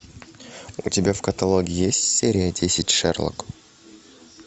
у тебя в каталоге есть серия десять шерлок